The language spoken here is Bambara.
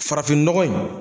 Farafinnɔgɔ in